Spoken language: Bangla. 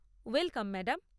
Welcome, madam.